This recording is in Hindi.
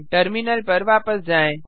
टर्मिनल पर वापस जाएँ